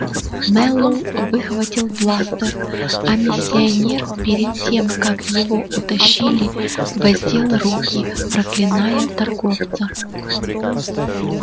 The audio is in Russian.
мэллоу выхватил бластер а миссионер перед тем как его утащили воздел руки проклиная торговца